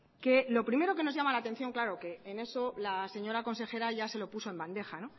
que lo primero que nos llama la atención claro que en eso la señora consejera ya se lo puso en bandeja